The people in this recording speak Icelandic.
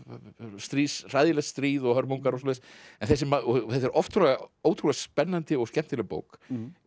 stríð hræðilegt stríð og hörmungar og svoleiðis en þetta er oft ótrúlega spennandi og skemmtileg bók